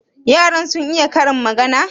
yaran sun iya Karin magana?